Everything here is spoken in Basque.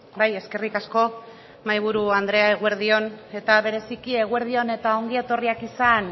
bai eskerrik asko mahaiburu andrea eguerdi on eta bereziki eguerdi on eta ongi etorriak izan